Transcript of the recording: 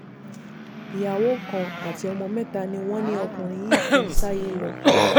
ìyàwó kan àti ọmọ mẹ́ta ni wọ́n ní ọkùnrin yìí fi ṣáyé lọ